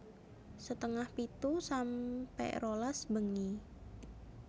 setengah pitu sampe rolas bengi